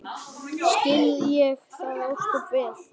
Skil ég það ósköp vel.